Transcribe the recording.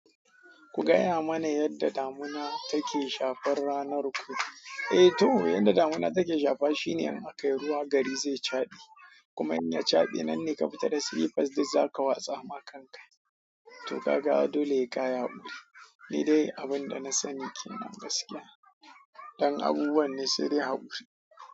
Ku gaya mana yadda damina take shafar ranar ku. Eh to, yadda damina take shafa shine in aka yi ruwa gari zai chaɗi. Kuma in ya chabi nan ne ka fita da slippers duk za ka watsa ma kan ka. To ka ga dole heyka ya guri. Ni dai abin da na sani ke nan gaskiya. Dan abubuwan ne sai dai hakuri.